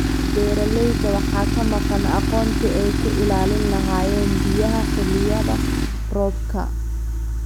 Beeralayda waxaa ka maqan aqoontii ay ku ilaalin lahaayeen biyaha xilliyada roobabka.